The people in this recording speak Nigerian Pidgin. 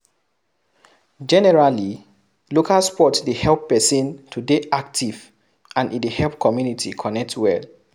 Generally, local sport dey help person to dey active and e dey help community connect well